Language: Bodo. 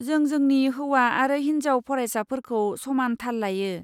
जों जोंनि हौवा आरो हिनजाव फरायसाफोरखौ समान थाल लायो।